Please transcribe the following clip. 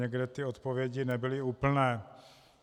Někde ty odpovědi nebyly úplné.